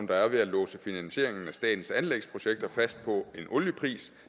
der er ved at låse finansieringen af statens anlægsprojekter fast på en oliepris